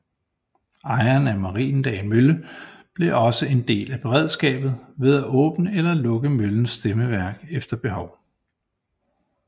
Ejeren af Mariendal Mølle blev også en del af beredskabet ved at åbne eller lukke møllens stemmeværk efter behov